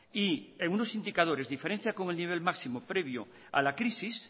y en unos indicadores diferencia con el nivel máximo previo a la crisis